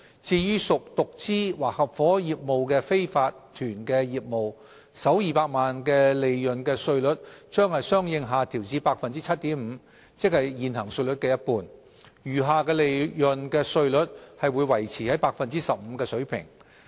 至於屬獨資或合夥業務的非法團業務，首200萬元利潤的稅率將相應下調至 7.5%， 即現行稅率的一半，餘下利潤的稅率則維持在 15% 的水平。